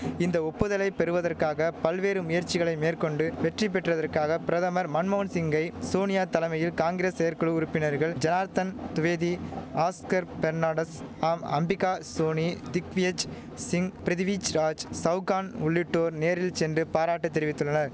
இந்த ஒப்புதலை பெறுவதற்காக பல்வேறு முயற்சிகளை மேற்கொண்டு வெற்றி பெற்றதற்காக பிரதமர் மன்மோகன் சிங்கை சோனியா தலைமையில் காங்கிரஸ் செயற்குழு உறுப்பினர்கள் ஜனார்த்தன் துவேதி ஆஸ்கர் பெர்னாண்டஸ் ஆம் அம்பிகா சோனி திக்வியேஜ் சிங் பிரிதிவிஜ் ராஜ் சவுகான் உள்ளிட்டோர் நேரில் சென்று பாராட்டு தெரிவித்துள்ளன